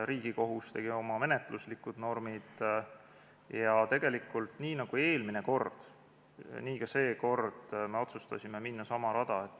Riigikohus tegi oma menetluslikud normid ja tegelikult nii nagu eelmine kord, nii ka seekord me otsustasime minna sama rada.